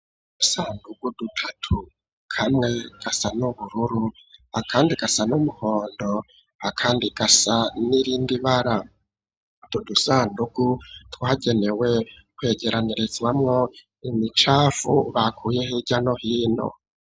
Udusandugu dutatu kamwe gasa n'ubururu akandi gasa n'umuhondo akandi gasa n'irindi bara, utwo dudusandugu twagenewe kwegeranirizwamwo imicafu bakuye hirya no hino.